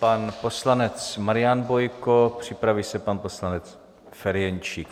Pan poslanec Marian Bojko, připraví se pan poslanec Ferjenčík.